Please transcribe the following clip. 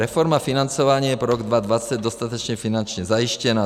Reforma financování je pro rok 2020 dostatečně finančně zajištěna.